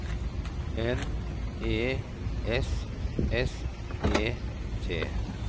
N E S S E T